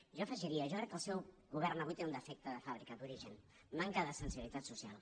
jo hi afegiria jo crec que el seu govern avui té un defecte de fàbrica d’origen manca de sensibilitat social